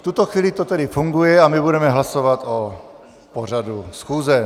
V tuto chvíli to tedy funguje a my budeme hlasovat o pořadu schůze.